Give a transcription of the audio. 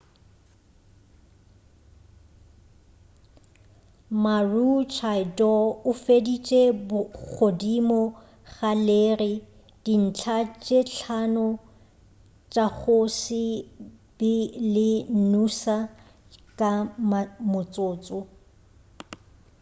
maroochydore o feditše godimo ga leri dintlha tše hlano tša go se be le noosa ka motsotso